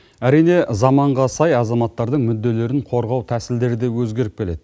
әрине заманға сай азаматтардың мүдделерін қорғау тәсілдері де өзгеріп келеді